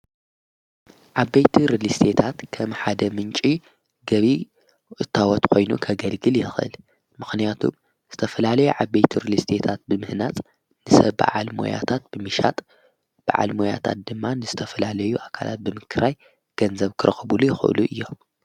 ዓበይቲ ርሊስታት ከም ሓደ ምንጪ ገቢ እታወት ኾይኑ ከገልግል የኽእል ምኽንያቱ ዝተፍላለዩ ዓበይቲ ርልስቴታት ብምህናጽ ንሰብ ብዓል መያታት ብምሻጥ ብዓል ሞያታት ድማ ንዝተፍላለዩ ኣካላት ብምክራይ ገንዘብ ክረኽቡሉ ይኽእሉ እዮም።